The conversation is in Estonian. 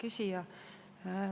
Hea küsija!